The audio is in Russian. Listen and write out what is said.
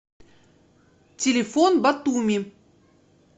телефон батуми